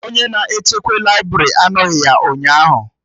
Onye na-echekwa laibrị anoghi ya ụnyaahụ